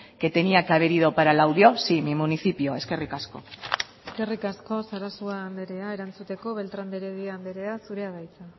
que tenía que haber ido para laudio sí mi municipio eskerrik asko eskerrik asko sarasua andrea erantzuteko beltrán de heredia andrea zurea da hitza